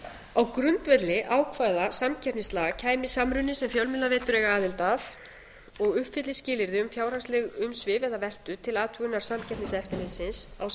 á grundvelli ákvæða samkeppnislaga kæmi samruni sem fjölmiðlaveitur eiga aðild að og uppfyllir skilyrði um fjárhagsleg umsvif eða veltu til athugunar samkeppniseftirlitsins á